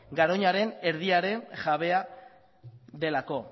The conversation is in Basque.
garoñaren erdiaren jabea delako